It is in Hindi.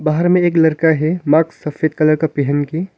बाहर मे एक लड़का है माक्स सफेद कलर का पहन के।